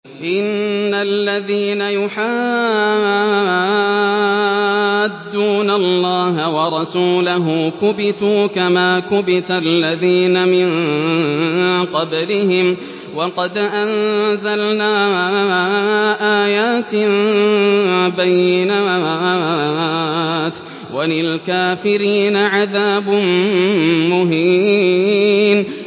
إِنَّ الَّذِينَ يُحَادُّونَ اللَّهَ وَرَسُولَهُ كُبِتُوا كَمَا كُبِتَ الَّذِينَ مِن قَبْلِهِمْ ۚ وَقَدْ أَنزَلْنَا آيَاتٍ بَيِّنَاتٍ ۚ وَلِلْكَافِرِينَ عَذَابٌ مُّهِينٌ